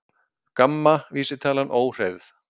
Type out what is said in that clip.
GAMMA vísitalan óhreyfð